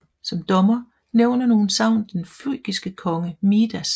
Som dommer nævner nogle sagn den frygiske konge Midas